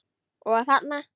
Og þarna?